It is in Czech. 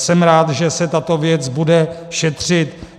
Jsem rád, že se tato věc bude šetřit.